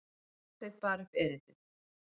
Marteinn bar upp erindið.